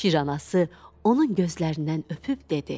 Şir anası onun gözlərindən öpüb dedi: